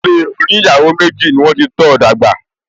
Ilé oníyàwó méjì ni wọ́n ti tọ́ọ dàgbà